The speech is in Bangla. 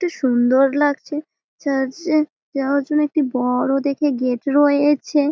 এটি সুন্দর লাগছে। চার্চে যাওয়ার জন্য একটি ব-অড় দেখে গেট রয়েছে।